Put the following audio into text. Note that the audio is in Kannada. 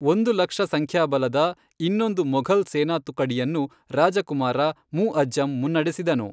ಒಂದು ಲಕ್ಷ ಸಂಖ್ಯಾಬಲದ ಇನ್ನೊಂದು ಮೊಘಲ್ ಸೇನಾತುಕುಡಿಯನ್ನು ರಾಜಕುಮಾರ ಮುಅಜ಼್ಜಮ್ ಮುನ್ನಡೆಸಿದನು.